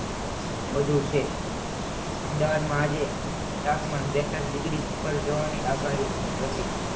વધુ છે અમદાવાદમાં આજે તાપમાન બેતાલિસ ડિગ્રી ઉપર જવાની આગાહી હતી